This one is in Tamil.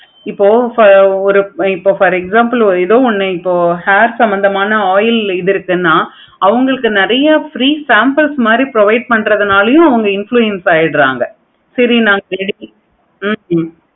இப்ப for ஒரு for example எதோ ஒன்னு hair சம்மந்தமான oil ஒன்னு இது இருக்குன்னு அவங்களுக்கு நெறைய free samples provide பன்ரனாலையும் அவங்க influence ஆகிடுறாங்க. சேரி ஹம்